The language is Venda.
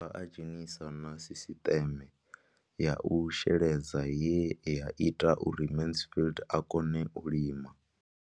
O ḓo dovha a dzhenisa na sisiṱeme ya u sheledza ye ya ita uri Mansfied a kone u lima.